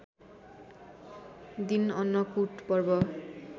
दिन अन्नकुट पर्व